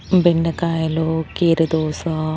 బెండకాయలు కీరదోస--